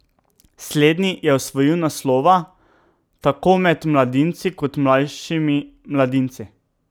Slednji je osvojil naslova tako med mladinci kot mlajšimi mladinci.